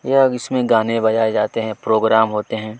यह इसमें गाने बजाए जाते है प्रोग्राम होते हैं।